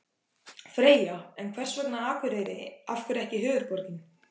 Freyja: En hvers vegna Akureyri, af hverju ekki höfuðborgin?